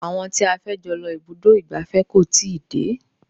Àwọn tí a fẹ́ jọ lọ ibùdó ìgbafẹ́ kò tíì dé.